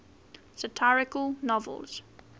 satirical novels